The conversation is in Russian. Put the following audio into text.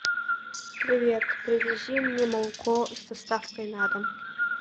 привет привези мне молоко с доставкой на дом